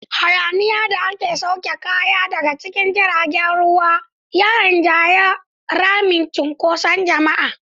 Hayaniyar da ake sauke kaya daga cikin jiragen ruwa ya rinjayi ramin cunkoson jama'a.